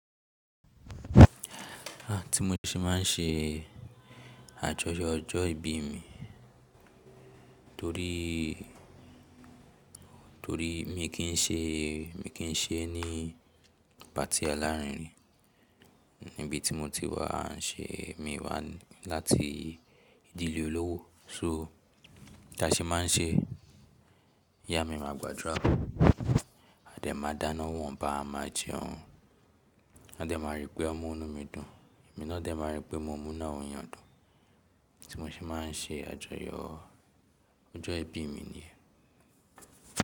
À tí mo ṣe máa ń ṣe àjọyọ̀ ọjọ́ ìbí mi torí, torí mi kì í ṣe, mi kì í ṣe ni patí alárinrin níbi tí mo ti wá ṣe, mi wá láti ìdílé olówó. So tí a ṣe máa ń ṣe, ìyá mi máa gbàdúrà a dẹ̀ máa dáná ni won ba a máa jẹun. A dẹ̀ máa rí pé ọmu inú mi dùn, èmi náà dẹ̀ máa rí pé mo mú nu awon eeyàn dùn. Tí mo ṣe máa ń ṣe àjọyọ̀ ọjọ́ ìbí mi niyen.